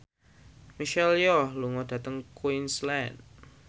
Michelle Yeoh lunga dhateng Queensland